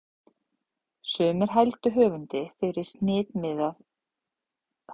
Sumir hældu höfundi fyrir hnitmiðuð stílbrögð, en aðrir létu sér fátt finnast um harðsoðinn stílsmátann.